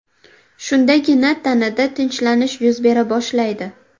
Shundagina tanada tinchlanish yuz bera boshlaydi.